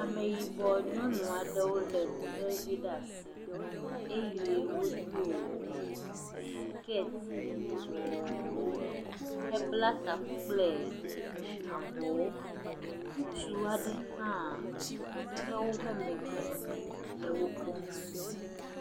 Ameyibɔ nyɔnu aɖewo le etrevi ɖe asi, eye wo do sikɛti yibɔwo he bla taku kple avɔwo, ŋutsu aɖe ha tɔ ɖe wo ƒe megbe le wo kpɔm.